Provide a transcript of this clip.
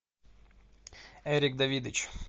эрик давидыч